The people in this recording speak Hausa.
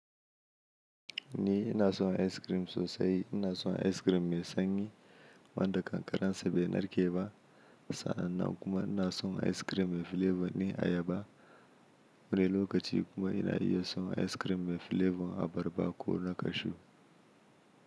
Ni ina son ice cream sosai, ina son ice cream mai sanyi wanda ƙanƙararsa bai narke ba, sannan kuma ina son ice cream mai flavor na ayaba. Wani lokaci kuma ina iya son ice cream mai flavor abarba ko na kashu.